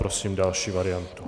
Prosím další variantu.